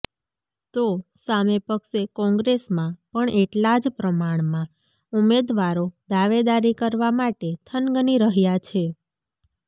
તો સામે પક્ષે કોંગ્રેસમાં પણ એટલા જ પ્રમાણમાં ઉમેદવારો દાવેદારી કરવામાટે થનગની રહ્યાં છે